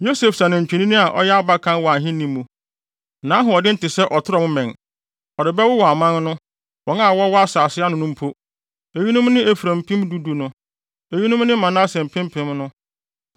Yosef sɛ nantwinini a ɔyɛ abakan wɔ ahenni mu. Ne ahoɔden te sɛ ɔtrɔm mmɛn. Ɔde bɛwowɔ aman no, wɔn a wɔwɔ asase ano no mpo. Eyinom ne Efraim mpem du du no; eyinom ne Manase mpempem no.”